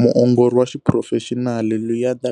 Muongori wa xiphurofexinali, Luyanda